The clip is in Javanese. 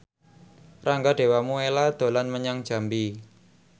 Rangga Dewamoela dolan menyang Jambi